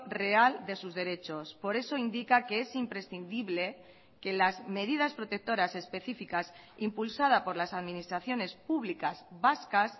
real de sus derechos por eso indica que es imprescindible que las medidas protectoras específicas impulsada por las administraciones públicas vascas